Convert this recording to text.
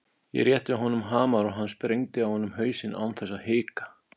Ég rétti honum hamar og hann sprengdi á honum hausinn án þess að hika.